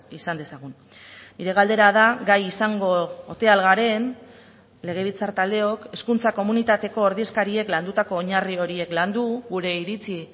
izan dezagun nire galdera da gai izango ote ahal garen legebiltzar taldeok hezkuntza komunitateko ordezkariek landutako oinarri horiek landu gure iritzi